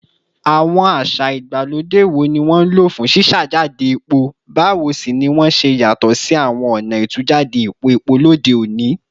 Àwọn àṣà ìgbàlódé wo ni wọ́n lò fún ṣíṣàjáde epo, báwo sì ni wọ́n ṣe yàtọ̀ sí àwọn ọ̀nà ìtújáde epo epo lóde òní?